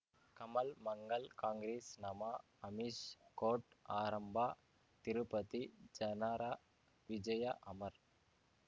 Kamal Mangal Congress ನಮಃ Amish court ಆರಂಭ ತಿರುಪತಿ ಜನರ ವಿಜಯ ಅಮರ್